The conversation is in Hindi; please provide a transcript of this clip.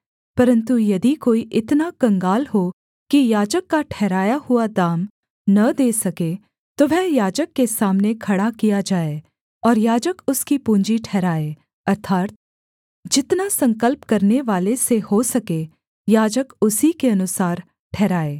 परन्तु यदि कोई इतना कंगाल हो कि याजक का ठहराया हुआ दाम न दे सके तो वह याजक के सामने खड़ा किया जाए और याजक उसकी पूँजी ठहराए अर्थात् जितना संकल्प करनेवाले से हो सके याजक उसी के अनुसार ठहराए